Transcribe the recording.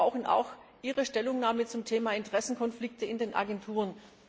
Und wir brauchen auch Ihre Stellungnahme zum Thema Interessenkonflikte in den Agenturen!